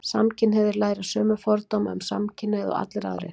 samkynhneigðir læra sömu fordóma um samkynhneigð og allir aðrir